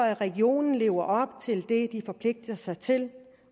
at regionerne lever op til det de har forpligtet sig til